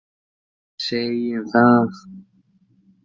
Segjum það.